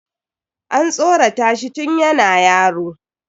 An tsoratashi tun yana yaro.